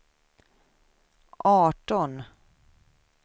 arton